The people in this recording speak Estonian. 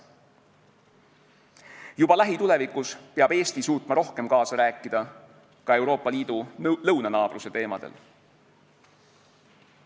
Juba lähitulevikus peab Eesti suutma rohkem kaasa rääkida ka Euroopa Liidu lõunanaabruse teemadel.